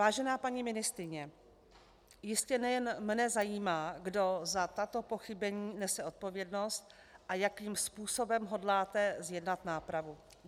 Vážená paní ministryně, jistě nejen mne zajímá, kdo za tato pochybení nese odpovědnost a jakým způsobem hodláte zjednat nápravu.